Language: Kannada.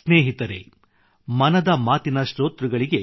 ಸ್ನೇಹಿತರೆ ಮನದ ಮಾತಿನ ಶ್ರೋತೃಗಳಿಗೆ